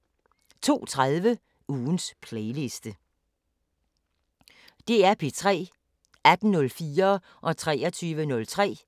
DR P3